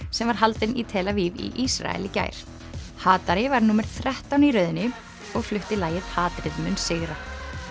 sem var haldin í tel Aviv í Ísrael í gær hatari var númer þrettán í röðinni og flutti lagið hatrið mun sigra